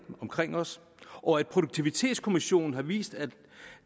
omkring os og at produktivitetskommissionen har vist at